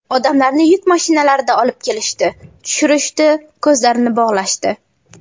Odamlarni yuk mashinalarida olib kelishdi, tushirishdi, ko‘zlarini bog‘lashdi.